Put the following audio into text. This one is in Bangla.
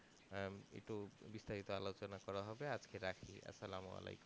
হ্যাঁ একটু বিস্তারিত আলোচনা করা হবেআজকে রাখি আসসালামু আলাইকুম।